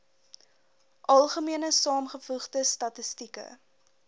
algemene saamgevoegde statistieke